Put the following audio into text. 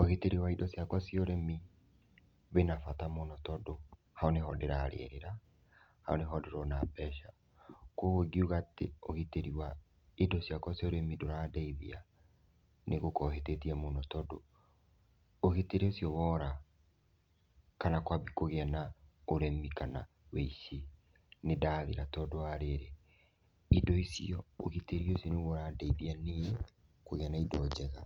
Ũgitĩri wa indo ciakwa cia ũrĩmi, wĩna bata mũno tondũ haũ nĩho ndĩrarĩrĩra, hau nĩho ndĩrona mbeca. Koguo ngiuga atĩ ũgitĩri wa indo ciakwa cia ũrĩmi ndũrandeithia nĩgũkorwo hĩtĩtie mũno tondũ, ũgitĩri ũcio wora, kana kwabie kũgĩe na ũrĩmi kana ũici, nĩndathira tondũ wa rĩrĩ, indo icio, ũgitĩri ũcio nĩguo ũrandeithia niĩ kũgĩa na indo njega,